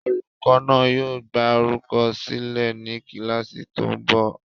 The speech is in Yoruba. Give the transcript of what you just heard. Olùkọ́ náà yóò gbá orúkọ sílẹ̀ ní kíláàsì tó ń bọ̀